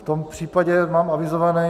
V tom případě mám avizované...